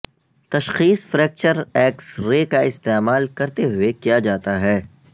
تشخیص fracture X ray کا استعمال کرتے ہوئے کیا جاتا ہے